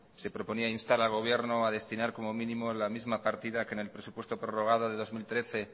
se proponía instar al gobierno a destinar como mínimo la misma partida que en el presupuesto prorrogado de dos mil trece